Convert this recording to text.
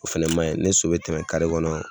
O fɛnɛ ma ɲi, ni so bɛ tɛmɛ kare kɔnɔ